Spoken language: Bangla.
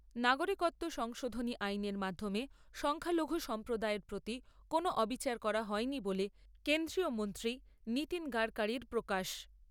নাগরিকত্ব সংশোধনী আইনের মাধ্যমে সংখ্যালঘু সম্প্রদায়ের প্রতি কোনও অবিচার করা হয়নি বলে কেন্দ্রীয় মন্ত্রী নীতিন গড়কড়ির প্রকাশ।